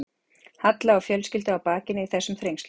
Halla og fjölskyldu á bakinu í þessum þrengslum.